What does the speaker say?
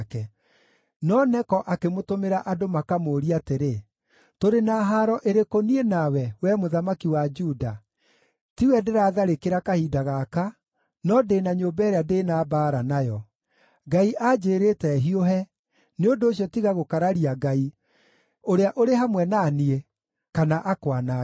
No Neko akĩmũtũmĩra andũ makamũũrie atĩrĩ, “Tũrĩ na haaro ĩrĩkũ niĩ nawe, wee mũthamaki wa Juda? Tiwe ndĩratharĩkĩra kahinda gaka, no ndĩ na nyũmba ĩrĩa ndĩ na mbaara nayo. Ngai anjĩĩrĩte hiũhe; nĩ ũndũ ũcio tiga gũkararia Ngai, ũrĩa ũrĩ hamwe na niĩ, kana akwanange.”